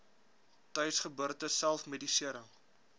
tuisgeboorte self medisering